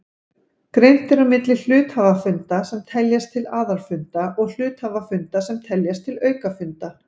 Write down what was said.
Greint er á milli hluthafafunda sem teljast til aðalfunda og hluthafafunda sem teljast til aukafunda.